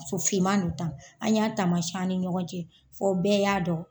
Muso finman don tan , an y'a taamasiɲɛ an ni ɲɔgɔn cɛ fɔ bɛɛ y'a dɔn.